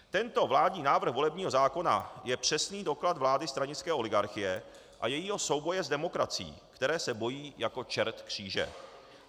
Tento vládní návrh volebního zákona je přesný doklad vlády stranické oligarchie a jejího souboje s demokracií, které se bojí jako čert kříže.